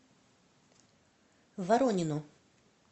воронину